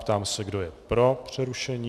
Ptám se, kdo je pro přerušení.